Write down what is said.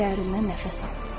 Dərindən nəfəs al.